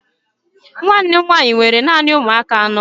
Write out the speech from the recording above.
Nwanne m nwanyị nwere naanị ụmụaka anọ.